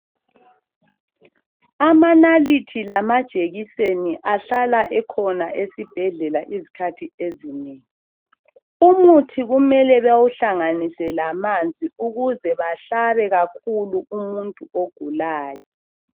Amanalithi lamajekiseni ahlala ekhona esibhedlela isikhathi ezinengi umuthi kumele bewuhlanganise lamanzi ukuze bahlabe kakhulu umuntu ogulayo